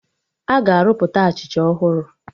Aga arụpụta Achịcha ọhụrụ